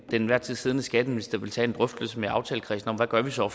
enhver tid siddende skatteminister vil tage en drøftelse med aftalekredsen om hvad man så